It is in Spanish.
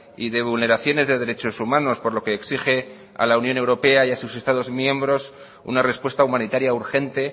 y de vulneraciones de derechos humanos por lo que exige a la unión europea y a sus estados miembros una respuesta humanitaria urgente